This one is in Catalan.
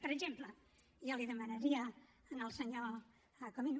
per exemple jo li demanaria al senyor comín